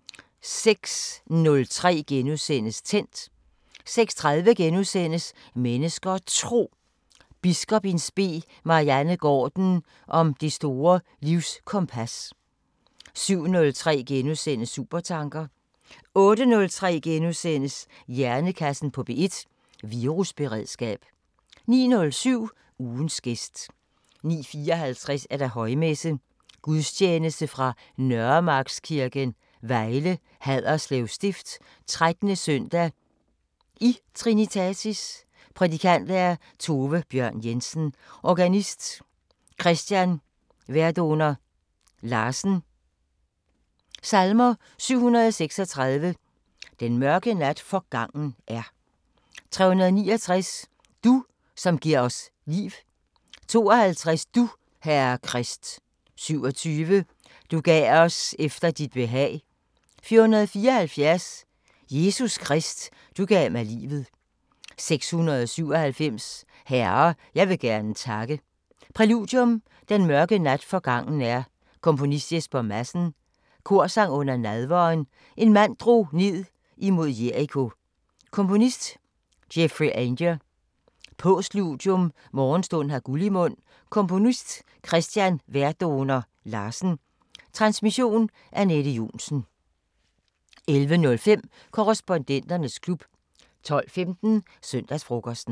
* 06:03: Tændt * 06:30: Mennesker og Tro: Biskop in spe Marianne Gaarden om det store livskompas * 07:03: Supertanker * 08:03: Hjernekassen på P1: Virusberedskab * 09:07: Ugens gæst 09:54: Højmesse - Gudstjeneste fra Nørremarkskirken, Vejle. Haderslev Stift. 13. søndag i Trinitatis. Prædikant: Tove Bjørn Jensen. Organist: Christian Verdoner Larsen. Salmer: 736: "Den mørke nat forgangen er" 369: "Du, som gir os liv" 52: "Du, Herre Krist" 27: "Du gav os efter dit behag" 474: "Jesus Krist, du gav mig livet" 697: "Herre, jeg vil gerne takke" Præludium: Den mørke nat forgangen er. Komponist: Jesper Madsen. Korsang under nadveren: En mand drog ned imod Jeriko. Komponist: Geoffrey Ainger. Postludium: Morgenstund har guld i mund. Komponist: Christian Verdoner Larsen. Transmission: Anette Johnsen. 11:05: Korrespondenternes klub 12:15: Søndagsfrokosten